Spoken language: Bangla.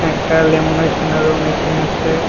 একটা ল্যামনেশনেরও মেশিন আছে।